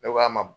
Ne k'a ma